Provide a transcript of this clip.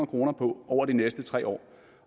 kroner på over de næste tre år